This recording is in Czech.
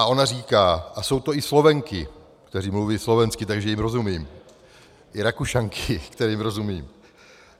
A ona říká - a jsou to i Slovenky, které mluví slovensky, takže jim rozumím, i Rakušanky, kterým rozumím.